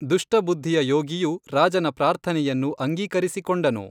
ದುಷ್ಟಬುದ್ಧಿಯ ಯೋಗಿಯು ರಾಜನ ಪ್ರಾರ್ಥನೆಯನ್ನು ಅಂಗೀಕರಿಸಿಕೊಂಡನು